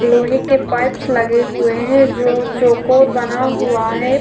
लोहे के पाइप्स लगे हुए हैं जो चोकोर बना हुआ है।